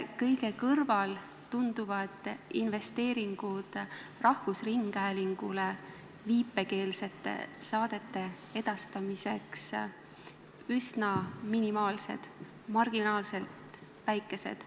... rahvusringhäälingus viipekeelsete saadete edastamiseks üsna minimaalsed, marginaalselt väikesed.